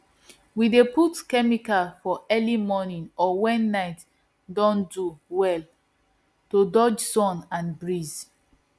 we dey put chemicals for early morning or when night don do well to dodge sun and breeze